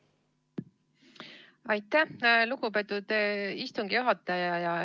Aitäh, lugupeetud istungi juhataja!